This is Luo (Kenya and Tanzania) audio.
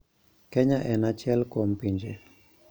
Kenya en achiel kuom pinje